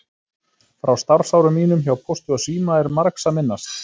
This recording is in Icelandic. Frá starfsárum mínum hjá Pósti og síma er margs að minnast.